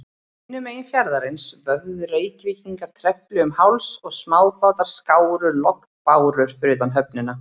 Hinum megin fjarðarins vöfðu Reykvíkingar trefli um háls, og smábátar skáru lognbárur fyrir utan höfnina.